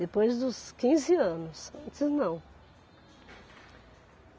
Depois dos quinze anos, antes não.